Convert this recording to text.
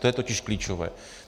To je totiž klíčové.